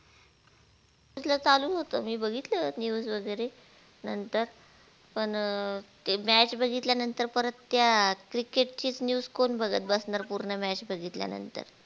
कसलं चालु होत मी बघितलं news वगेरे नंतर पण अ ते match बघितल्या नंतर परत त्या cricket चीच news कोण बघत बसणार पूर्ण match बघितल्या नंतर